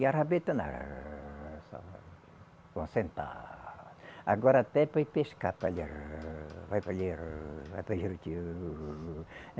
E a rabeta não rrrr. Agora até para ir pescar. rrrrr Vai para Juruti rrrr